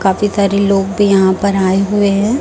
काफी सारे लोग भी यहां पर आए हुए हैं।